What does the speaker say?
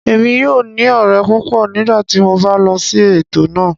Èmi yóò ní ọ̀rẹ́ púpọ̀ nígbà tí mo bá lọ sí ètò náà